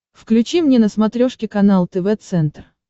включи мне на смотрешке канал тв центр